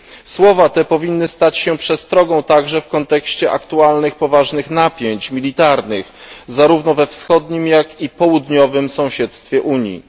Słowa te powinny stać się przestrogą także w kontekście aktualnych poważnych napięć militarnych, zarówno we wschodnim, jak i południowym sąsiedztwie Unii.